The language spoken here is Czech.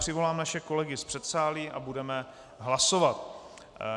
Přivolám naše kolegy z předsálí a budeme hlasovat.